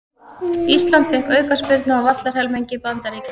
Ísland fékk aukaspyrnu á vallarhelmingi Bandaríkjanna